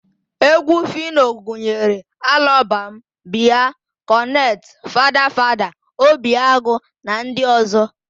Égwú Fino gụnyere Alọbam, Bịa, Kọnet, Fada Fada, Obi Agụ na ndị ọ̀zọ́.